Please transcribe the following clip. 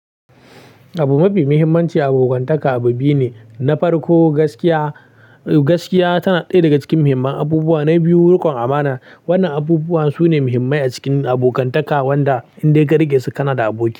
Abu mafi muhimmanci a abokantaka abu biyu ne, na farko gaskiya. Gaskiya tana ɗaya daga cikin muhimman abubuwa, na biyu riƙon amana. Wannan abubuwa sune muhimmai a cikin abokantaka wanda in dai ka riƙe su kana da aboki.